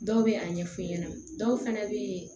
Dɔw bɛ a ɲɛ f'u ɲɛna dɔw fana bɛ